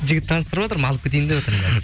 жігіт таныстырватырмын алып кетейін деп отырмын қазір